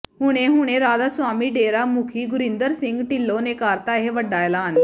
ਹੁਣੇ ਹੁਣੇ ਰਾਧਾ ਸਵਾਮੀ ਡੇਰਾ ਮੁਖੀ ਗੁਰਿੰਦਰ ਸਿੰਘ ਢਿਲੋਂ ਨੇ ਕਰਤਾ ਇਹ ਵੱਡਾ ਐਲਾਨ